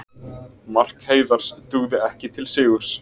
Mark Heiðars dugði ekki til sigurs